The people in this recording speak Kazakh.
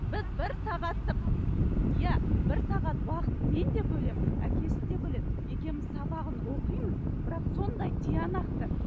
біз бір сағаттық иә бір сағаттық уақыт мен де бөлемін әкесі де бөледі екеуміз сабағын оқимыз бірақ сондай тиянақты